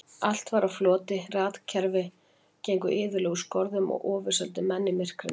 Allt var á floti, rafkerfi gengu iðulega úr skorðum og ofurseldu menn myrkrinu.